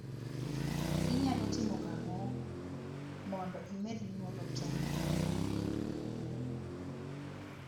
Inyalo timo ang'o mondo imed nyuolo tong ne gwen manyuol?